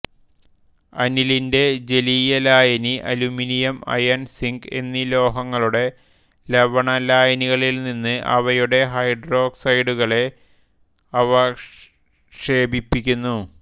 അനിലിന്റെ ജലീയലായനി aluminium iron zinc എന്നീ ലോഹങ്ങളുടെ ലവണലായനികളിൽനിന്ന് അവയുടെ ഹൈഡ്രോക്സൈഡുകളെ അവക്ഷേപിപ്പിക്കുന്നു